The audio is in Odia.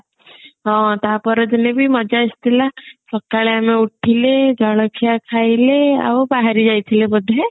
ହଁ ତା ପର ଦିନ ବି ମଜା ଆସିଥିଲା ସକାଳେ ଆମେ ଉଠିଲେ ଜଳଖିଆ ଖାଇଲେ ଆଉ ବାହାରି ଯାଇଥିଲେ ବୋଧେ